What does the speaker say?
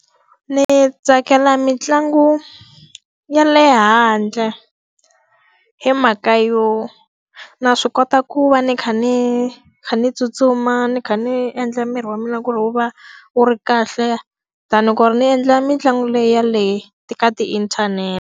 Ni tsakela mitlangu ya le handle. Hi mhaka yo, na swi kota ku va ni kha ni kha ni tsutsuma, ni kha ni endla miri wa mina ku ri wu va wu ri kahle than ku ri ni endla mitlangu leyi ya le ka ti-internet-te.